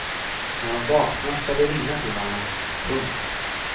När hon vaknar ska vi ringa till honom. punkt